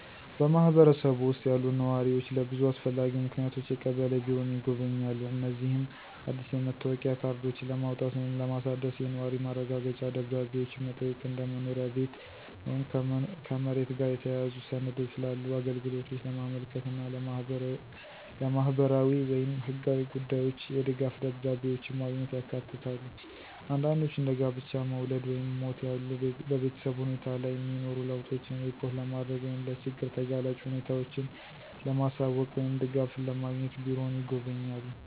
በማህበረሰቡ ውስጥ ያሉ ነዋሪዎች ለብዙ አስፈላጊ ምክንያቶች የቀበሌ ቢሮን ይጎበኛሉ። እነዚህም አዲስ የመታወቂያ ካርዶችን ለማውጣት ወይም ለማሳደስ፣ የነዋሪ ማረጋገጫ ደብዳቤዎችን መጠየቅ፣ እንደ መኖሪያ ቤት ወይም ከመሬት ጋር የተያያዙ ሰነዶች ላሉ አገልግሎቶች ለማመልከት እና ለማህበራዊ ወይም ህጋዊ ጉዳዮች የድጋፍ ደብዳቤዎችን ማግኘት ያካትታሉ። አንዳንዶች እንደ ጋብቻ፣ መውለድ ወይም ሞት ያሉ በቤተሰብ ሁኔታ ላይ የሚኖሩ ለውጦችን ሪፖርት ለማድረግ ወይም ለችግር ተጋላጭ ሁኔታዎችን ለማሳወቅ ወይም ድጋፍን ለማግኘት ቢሮውን ይጎበኛሉ።